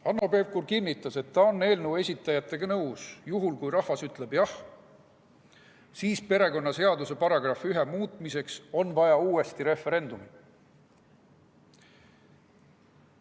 Hanno Pevkur kinnitas, et ta on eelnõu esitajatega nõus: juhul kui rahvas ütleb jah, siis perekonnaseaduse § 1 muutmiseks on vaja uuesti referendumit.